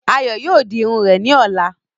Ayọ̀ yóò di Irun rẹ̀ ni ọ̀la.